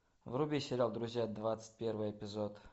вруби сериал друзья двадцать первый эпизод